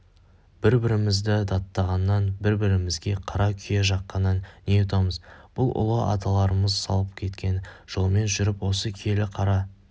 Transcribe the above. бір-бірімізді даттағаннан бір-бірімізге қара күйе жаққаннан не ұтамыз біз ұлы аталарымыз салып кеткен жолмен жүріп осы киелі қара